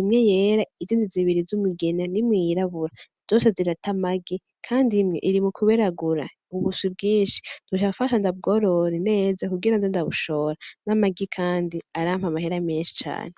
imwe yera, izindi zibiri z'umugina, n'imwe yirabura zose zirata amagi kandi imwe iri mukuberagura ubuswi bwinshi nzoca mfasha ndabworore neza kugira nze ndabushora, n'amagi kandi arampa amahera menshi cane.